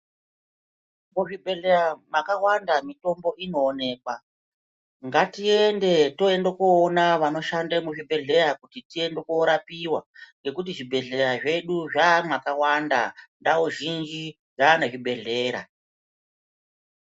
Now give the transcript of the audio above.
Muzvibhedhleya makawanda mitombo inowonekwa ngatiende tiende koona vanoshanda muzvibhedhleya kuti tiende korapiwa ngekuti zvibhedhleya zvedu zvaamwakawanda ndau zhinji dzaane zvibhedhleya.